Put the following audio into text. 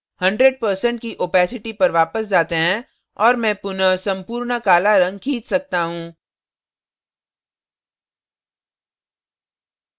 100% की opacity पर वापस जाते हैं और मैं पुनः संपूर्ण काला रंग खींच सकता हूँ